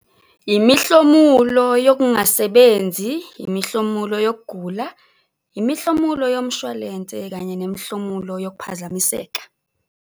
Imihlomulo yokungasebenzi, imihlomulo yokugula, imihlomulo yomshwalense kanye nemihlomulo yokuphazamiseka.